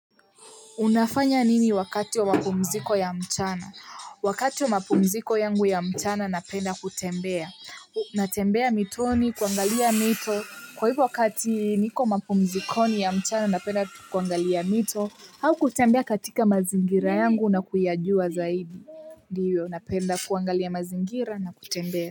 Unafanya nini wakati wa mapumziko ya mchana? Wakati wa mapumziko yangu ya mchana napenda kutembea. Natembea mitoni, kuangalia mito. Kwa hivyo wakati niko mapumzikoni ya mchana napenda kuangalia mito, au kutembea katika mazingira yangu na kuyajua zaidi. Ndio, napenda kuangalia mazingira na kutembea.